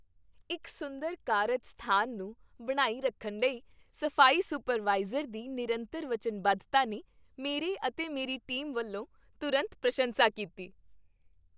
ਇੱਕ ਸੁੰਦਰ ਕਾਰਜ ਸਥਾਨ ਨੂੰ ਬਣਾਈ ਰੱਖਣ ਲਈ ਸਫ਼ਾਈ ਸੁਪਰਵਾਈਜ਼ਰ ਦੀ ਨਿਰੰਤਰ ਵਚਨਬੱਧਤਾ ਨੇ ਮੇਰੇ ਅਤੇ ਮੇਰੀ ਟੀਮ ਵੱਲੋਂ ਤੁਰੰਤ ਪ੍ਰਸ਼ੰਸਾ ਕੀਤੀ।